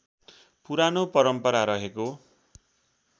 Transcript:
पुरानो परम्परा रहेको